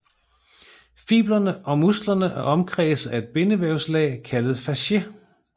Fibrene og musklerne er omkredset af bindevævslag kaldet fascie